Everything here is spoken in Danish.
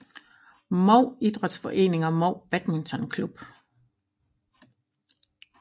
Mou Idrætsforening og Mou Badminton Klub